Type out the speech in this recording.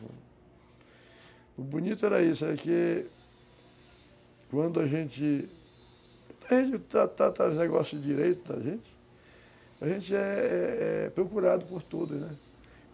O bonito era isso, era que quando a gente... A gente tratava os negócios direito da gente, a gente é é é procurado por todos, né?